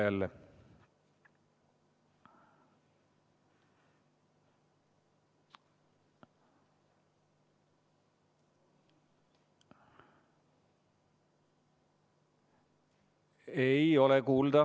Kalvi, peaproov meil õnnestus, aga praegu ei ole sind jälle kuulda.